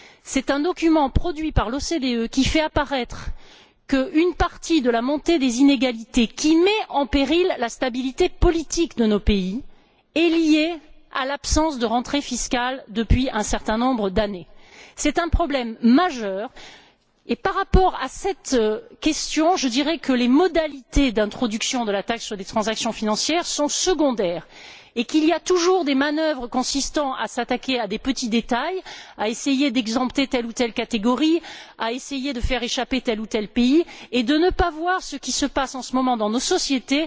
C'est un document produit par l'OCDE, qui fait apparaître que la montée des inégalités, qui met en péril la stabilité politique de nos pays, est en partie liée à l'absence de rentrées fiscales depuis un certain nombre d'années. C'est un problème majeur et, par rapport à cette question, je dirais que les modalités d'introduction de la taxe sur les transactions financières sont secondaires, et qu'il y a toujours des manœuvres consistant à s'attaquer à des petits détails, à essayer d'exempter telle ou telle catégorie, à essayer de faire échapper tel ou tel pays, et à fermer les yeux sur ce qui se passe en ce moment dans nos sociétés,